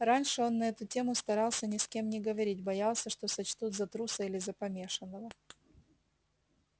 раньше он на эту тему старался ни с кем не говорить боялся что сочтут за труса или за помешанного